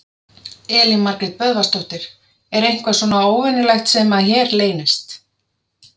Elín Margrét Böðvarsdóttir: Er eitthvað svona óvenjulegt sem að hér leynist?